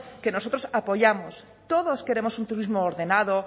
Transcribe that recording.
que nosotros apoyamos todos queremos un turismo ordenado